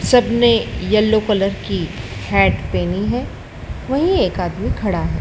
सबने yellow colour की hat पहनी है वहीं एक आदमी खड़ा है।